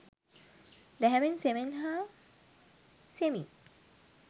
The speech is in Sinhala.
දැහැමෙන් සෙමෙන් හා සෙමින්